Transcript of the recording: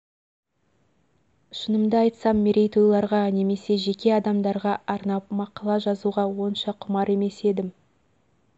шынымды айтсам мерейтойларға немесе жеке адамдарға арнап мақала жазуға онша құмар емес едім